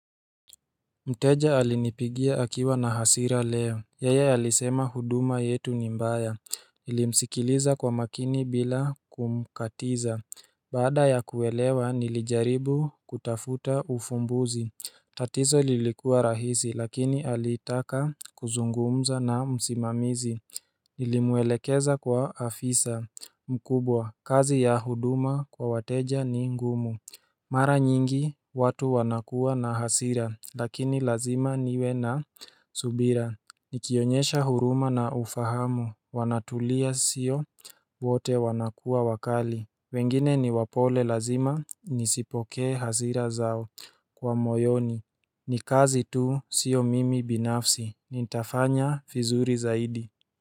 Mteja alinipigia akiwa na hasira leo Yeye alisema huduma yetu ni mbaya nilimsikiliza kwa makini bila kumkatiza Baada ya kuelewa nilijaribu kutafuta ufumbuzi tatizo lilikuwa rahisi lakini alitaka kuzungumza na msimamizi Nilimwelekeza kwa afisa mkubwa kazi ya huduma kwa wateja ni ngumu Mara nyingi watu wanakuwa na hasira lakini lazima niwe na subira Nikionyesha huruma na ufahamu wanatulia sio wote wanakuwa wakali wengine ni wapole lazima nizipokee hasira zao kwa moyoni ni kazi tu sio mimi binafsi nitafanya vizuri zaidi.